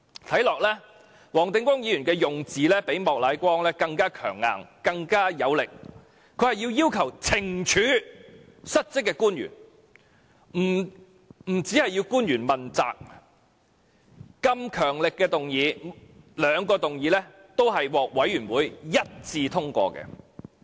"看起來，黃定光議員的用字較莫乃光議員更強硬和有力，他要求懲處失職的官員，不單要求官員問責，兩項如此強力的議案均獲事務委員會一致通過。